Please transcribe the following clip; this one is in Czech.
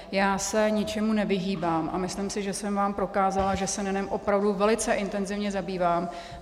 Já se ničemu nevyhýbám a myslím si, že jsem vám prokázala, že se NENem opravdu velice intenzivně zabývám.